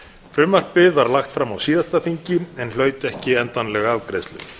frumvarpið var lagt fram á síðasta þingi en hlaut ekki afgreiðslu